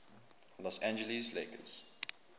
los angeles lakers